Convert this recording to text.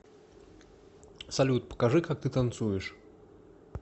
салют покажи как ты танцуешь